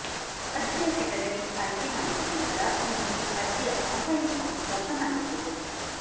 ಅರ್ಜಿಯ ಕೆಟಗರಿ ಆಯ್ಕೆ ಮಾಡಿದ ನಂತರ ನಿಮಗೆ ಅರ್ಜಿಯ ಆನ್ಲೈನ್ ಫಾರ್ಮ್ ಓಪನ್ ಆಗುತ್ತದೆ